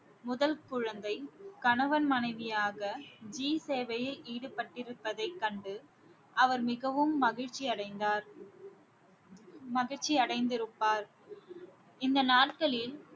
முதல் குழந்தை கணவன் மனைவியாக ஜி சேவையில் ஈடுபட்டிருப்பதை கண்டு அவர் மிகவும் மகிழ்ச்சி அடைந்தார் மகிழ்ச்சி அடைந்திருப்பார் இந்த நாட்களில்